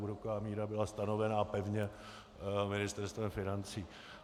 Úroková míra byla stanovena pevně Ministerstvem financí.